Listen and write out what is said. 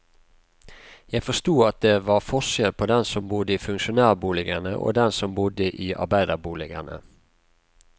Jeg forsto at det var forskjell på dem som bodde i funksjonærboligene og dem som bodde i arbeiderboligene.